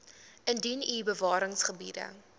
indien u bewaringsgebiede